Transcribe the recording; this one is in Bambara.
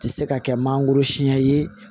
Tɛ se ka kɛ mangoro siɲɛ ye